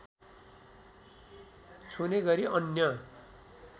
छुने गरी अन्य